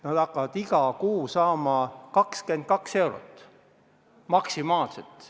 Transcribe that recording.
Nad hakkavad iga kuu saama 22 eurot maksimaalselt.